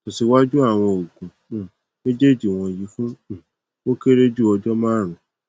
tẹsiwaju awọn oogun um mejeeji wọnyi fun um o kere ju ọjọ marun